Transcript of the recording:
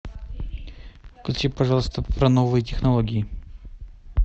включи пожалуйста про новые технологии